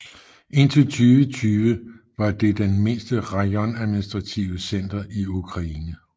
Indtil 2020 var det det den mindste rajon administrative center i Ukraine